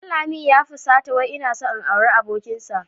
Danlami ya fusata wai ina son in auri abokinsa.